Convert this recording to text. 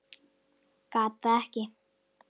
Gat það ekki.